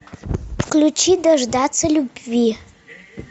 включи дождаться любви